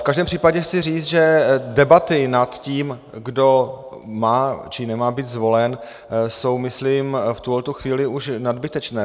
V každém případě chci říct, že debaty nad tím, kdo má, či nemá být zvolen, jsou myslím v tuhle chvíli už nadbytečné.